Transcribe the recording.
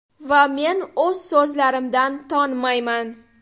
Va men o‘z so‘zlarimdan tonmayman.